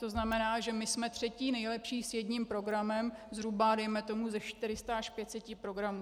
To znamená, že my jsme třetí nejlepší s jedním programem zhruba dejme tomu ze 400 až 500 programů.